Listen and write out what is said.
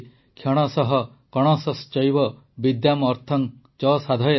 କ୍ଷଣଶଃ କଣଶଶ୍ଚୈବ ବିଦ୍ୟାମ୍ ଅର୍ଥଂ ଚ ସାଧୟେତ୍